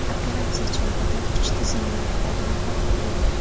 Operatsiya chog‘ida kuch tizimlari hodimi halok bo‘ldi.